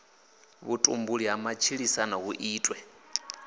vhutumbuli ha matshilisano hu itwe